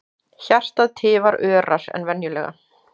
Hjartað tifar örar en venjulega.